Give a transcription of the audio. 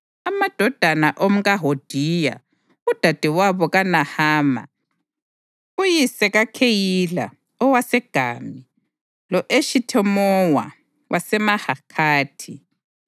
Amadodana omkaHodiya, udadewabo kaNahama, uyise kaKheyila owaseGami, lo-Eshithemowa waseMahakhathi.